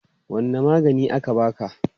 Wanne magani aka baka?